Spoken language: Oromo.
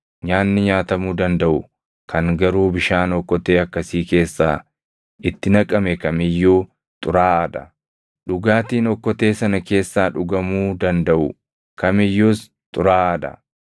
Nyaanni nyaatamuu dandaʼu kan garuu bishaan okkotee akkasii keessaa itti naqame kam iyyuu xuraaʼaa dha; dhugaatiin okkotee sana keessaa dhugamuu dandaʼu kam iyyuus xuraaʼaa dha.